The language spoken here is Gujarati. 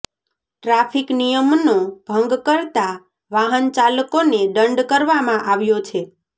ટ્રાફિક નિયમનો ભંગ કરતા વાહન ચાલકોને દંડ કરવામાં આવ્યો છે